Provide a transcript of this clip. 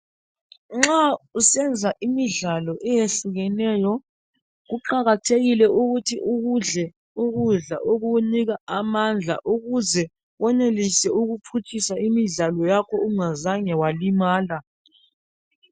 Nxa usenza imidlalo eyehlukeneyo ,kuqakathekile ukuthi ukudle ukudla okukunika amandla ukuze wenelise ukuphutshisa imidlalo yakho ungazange walimala.